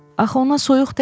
Axı ona soyuq dəyib.